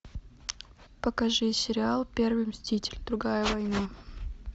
покажи сериал первый мститель другая война